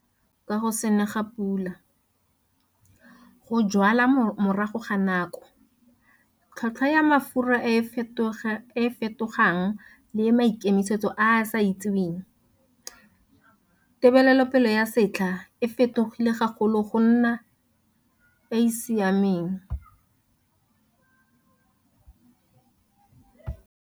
KA SETLHA SE SE SIMOLOTSENG KA GO SE NE GA PULA, GO JWALA MORAGO GA NAKO, TLHOLTHWA YA MAFURA E E FETOGANG LE MAIKEMISETSO A A SE ITSEWENG, TEBELELOPELE YA SETLHA E FETOGILE GAGOLO GO NNA E E SIAMENG.